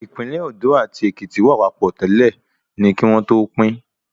Ìpínlẹ̀ Òndó àti Èkìtì wà papọ̀ tẹ́lẹ̀ ni kí wọ́n tó pín